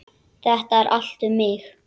Þetta er allt um mig!